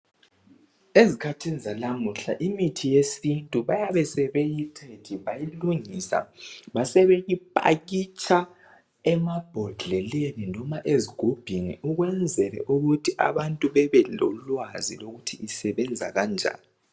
Ezikhathini zalamuhla imithi yesintu bayabe sebeyithethe bayilungisa basebeyipakitsha emabhodleleni loba ezigubhini ukwenzela ukuthi abantu bebelolwazi ukuthi isebenza kanjani.